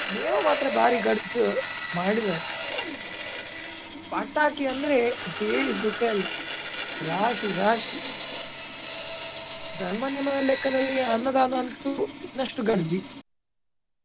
ನೇಮ ಮಾತ್ರ ಬಾರಿ ಗಡ್ಜ್ ಮಾಡಿದ್ದಾರೆ. ಪಟಾಕಿ ಅಂದ್ರೆ ಹೇಳಿ ಸುಕ ಇಲ್ಲ ರಾಶಿ ರಾಶಿ. ಧರ್ಮ ನೇಮ ದ ಲೆಕ್ಕದಲ್ಲಿ ಅನ್ನದಾನ ಎಂತು ಇನ್ನಸ್ಟು ಗಡ್ಜಿ.